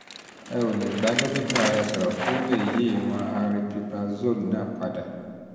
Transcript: um o um lè bá dókítà rẹ sọ̀rọ̀ kó o um lè yí ìwọ̀n aripiprazole náà padà